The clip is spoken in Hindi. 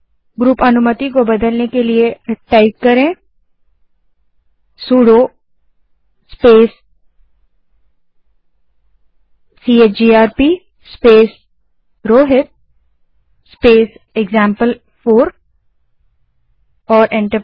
ग्रुप अनुमति को बदलने के लिए command sudo space CHGRP space Rohit space example four type करें और एंटर दबायें